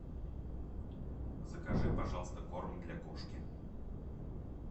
закажи пожалуйста корм для кошки